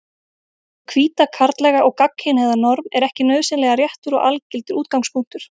Hið hvíta, karllæga og gagnkynhneigða norm er ekki nauðsynlega réttur og algildur útgangspunktur.